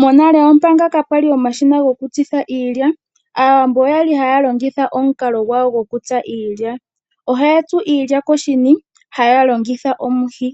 Monale manga kaapwali omashina goku tsitha iilya aawambo oyali haya longitha omukalo gwayo gwoku tsa iilya. Ohaya tsu iilya koshini haya longitha omuhi,